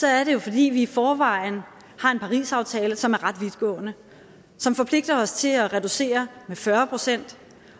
er det jo fordi vi i forvejen har en parisaftale som er ret vidtgående som forpligter os til at reducere med fyrre pct